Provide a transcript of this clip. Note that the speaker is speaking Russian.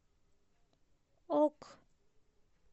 ок